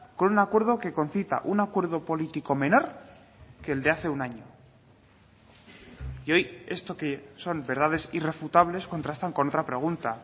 con un acuerdo que concita un acuerdo político menor que el de hace un año y hoy esto que son verdades irrefutables contrastan con otra pregunta